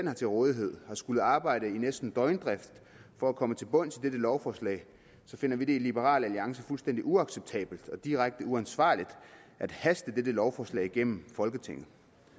har til rådighed har skullet arbejde næsten i døgndrift for at komme til bunds i dette lovforslag finder vi det i liberal alliance fuldstændig uacceptabelt og direkte uansvarligt at haste dette lovforslag igennem folketinget